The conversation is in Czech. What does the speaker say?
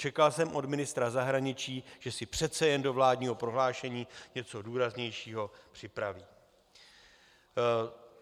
Čekal jsem od ministra zahraničí, že si přece jen do vládního prohlášení něco důraznějšího připraví.